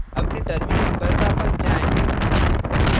अपने terminal पर वापस जाएँ